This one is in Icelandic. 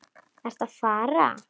Ertu að fara?